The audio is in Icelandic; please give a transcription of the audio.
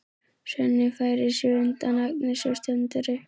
Svenni færir sig undan Agnesi og stendur upp.